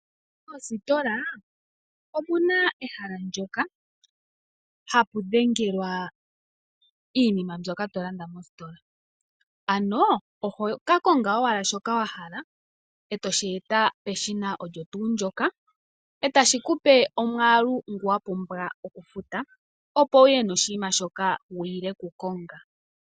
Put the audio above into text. Moositola omuna ehala ndyoka hapu dhengelwa iinima mbyoka to landa mositola, ano oho ka konge owala shoka wahala etoshi eta peshina ndyoka etashi kupe omwaalu ngoka wa pumbwa oku futa, opo wuye noshinima shoka wiile oku konga.